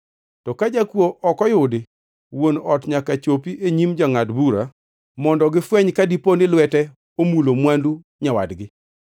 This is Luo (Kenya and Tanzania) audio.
To ka jakuo ok oyudi, wuon ot nyaka chopi e nyim jongʼad bura mondo gifweny ka dipo ni lwete omulo mwandu nyawadgi